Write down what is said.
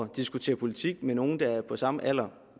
diskutere politik med nogle der er på samme alder